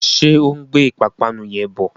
Ṣé ó ń gbé ìpapánu yẹn bọ?